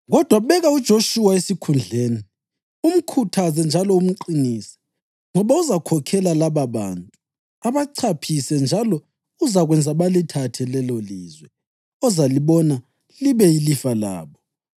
Kodwa beka uJoshuwa esikhundleni, umkhuthaze njalo umqinise, ngoba uzakhokhela lababantu abachaphise njalo uzakwenza balithathe lelolizwe ozalibona libe yilifa labo.’